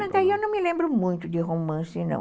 Não, daí eu não me lembro muito de romance, não.